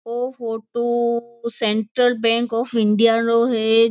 O photo Central Bank of India रो है।